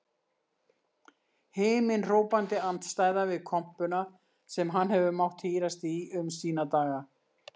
Himinhrópandi andstæða við kompuna sem hann hefur mátt hírast í um sína daga.